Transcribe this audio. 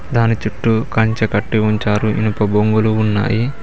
దాని చుట్టూ కంచె కట్టి ఉంచారు ఇనుప బొంగులు ఉన్నాయి.